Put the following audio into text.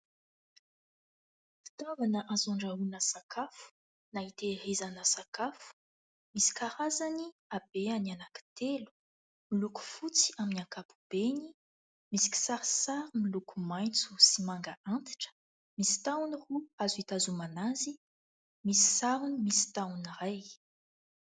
Fitaovana azo andrahoina sakafo na hitahirizana sakafo. Misy karazany habehany anankitelo. Miloko fotsy amin'ny ankapobeny, misy kisarisary miloko maitso sy manga antitra, misy tahony roa azo hitazomana azy. Misy sarony misy tahony iray.